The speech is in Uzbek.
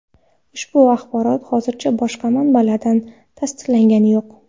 Ushbu axborot hozircha boshqa manbalardan tasdiqlangani yo‘q.